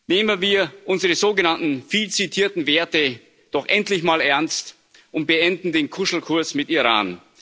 Nehmen wir unsere sogenannten, viel zitierten Werte doch endlich mal ernst und beenden den Kuschelkurs mit Iran!